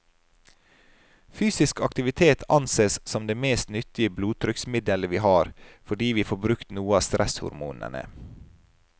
Fysisk aktivitet ansees som det mest nyttige blodtrykksmiddelet vi har, fordi vi får brukt noe av stresshormonene.